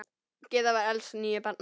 Gyða var elst níu barna.